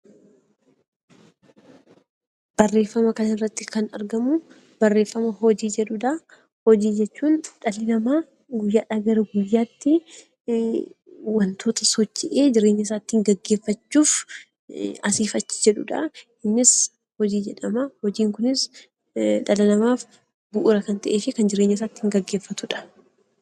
Barreeffama kana irratti kan argamu barreeffama 'Hojii' jedhu dha. Hojii jechuun dhalli namaa guyyaa dhaa guyyaatti wantoota socho'ee ittiin jireenya isaa geggeeffachuuf asiif achi jedhu dha. Innis 'Hojii' jedhama. Hojiin kunis dhala namaaf bu'uura kan ta'ee fi kan jireenya isaa ittiin geggeeffatu dha.